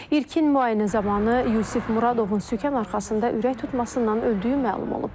İlkin müayinə zamanı Yusif Muradovun sükan arxasında ürək tutmasından öldüyü məlum olub.